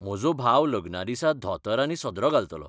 म्हजो भाव लग्ना दिसा धोतर आनी सदरो घालतलो.